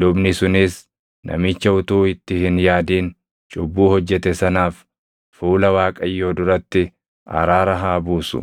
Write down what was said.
Lubni sunis namicha utuu itti hin yaadin cubbuu hojjete sanaaf fuula Waaqayyoo duratti araara haa buusu;